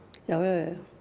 já